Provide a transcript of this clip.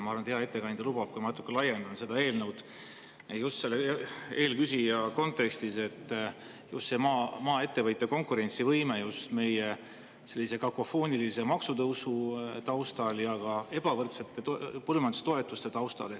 Ma arvan, et hea ettekandja lubab, et ma natuke laiendan seda eelnõu, just eelküsija kontekstis, just maaettevõtja konkurentsivõime kontekstis meie sellise kakofoonilise maksutõusu taustal ja ka ebavõrdsete põllumajandustoetuste taustal.